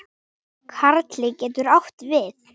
Karli getur átt við